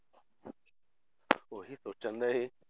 ਉਹੀ ਸੋਚਣ ਡਿਆ ਸੀ